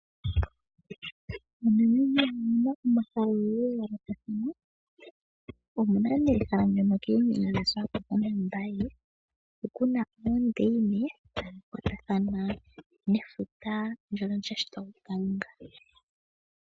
MoNamibia omu na omahala ogendji ga yoolokathana. Omu na nduno ehala ndyoka koombinga dhaSwakopo naMbaye hono ku na oondaine dha kwatathana nefuta ndyono lya shitwa kuKalunga.